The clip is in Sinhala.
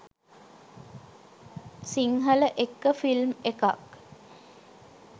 සිංහලඑක්ක ෆිල්ම් එකක්